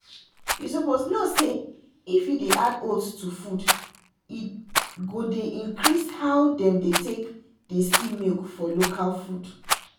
you suppose know say if you dey add oats to food e go dey increase how them dey take dey see milk for local food.